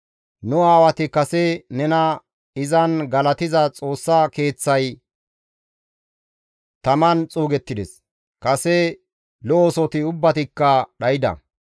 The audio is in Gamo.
Nu aawati kase nena izan galatiza Xoossa Keeththay taman xuugettides; kase lo7osoti ubbatikka dhayda.